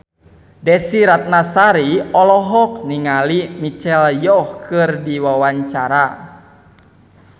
Desy Ratnasari olohok ningali Michelle Yeoh keur diwawancara